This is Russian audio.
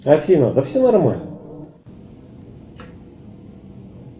афина да все нормально